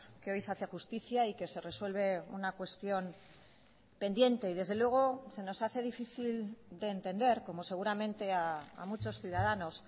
que hoy se hace justicia y que se resuelve una cuestión pendiente y desde luego se nos hace difícil de entender como seguramente a muchos ciudadanos